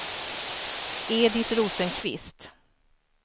Edit Rosenqvist